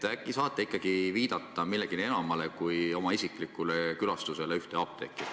Äkki saate ikkagi viidata millelegi enamale kui oma isiklikele ühe apteegi külastustele.